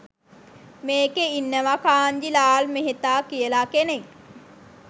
මේකෙ ඉන්නව කාන්ජී ලාල් මෙහෙතා කියල කෙනෙක්